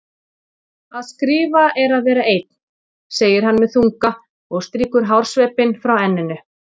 Að skrifa er að vera einn, segir hann með þunga og strýkur hársveipinn frá enninu.